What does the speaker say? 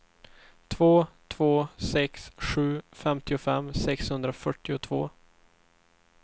två två sex sju femtiofem sexhundrafyrtiotvå